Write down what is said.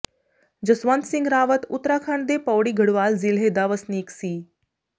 ਜਸਵੰਤ ਸਿੰਘ ਰਾਵਤ ਉੱਤਰਾਖੰਡ ਦੇ ਪਉੜੀ ਗੜਵਾਲ ਜ਼ਿਲ੍ਹੇ ਦਾ ਵਸਨੀਕ ਸੀ